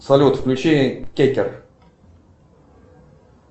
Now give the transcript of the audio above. салют включи кекер